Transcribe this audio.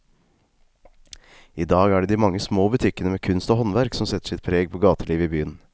I dag er det de mange små butikkene med kunst og håndverk som setter sitt preg på gatelivet i byen.